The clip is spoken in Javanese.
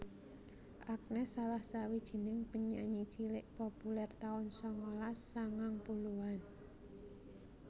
Agnes salah sawijing penyanyi cilik populèr taun sangalas sangang puluhan